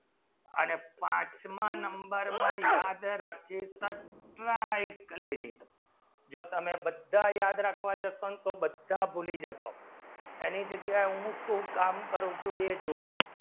અને પંચવા number માં યાદ રાખીવજા slide કેની જો તમને બધા યાદ રાખવા જે પણ બધા ભૂલી જોશો અને જગ્યા હું કામ કરી છે જુવે જોવો